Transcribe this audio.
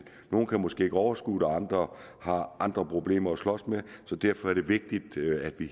nogle kan måske ikke overskue og andre har andre problemer at slås med så derfor er det vigtigt at vi